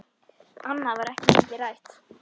Annað var ekki mikið rætt.